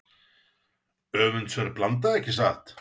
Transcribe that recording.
Öfundsverð blanda ekki satt?